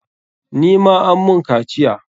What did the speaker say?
Ni ma an mun kaciya.